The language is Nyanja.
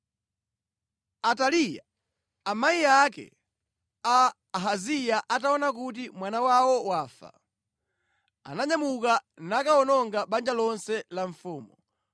Ataliya amayi ake a Ahaziya ataona kuti mwana wawo wafa, ananyamuka nakawononga banja lonse la mfumu.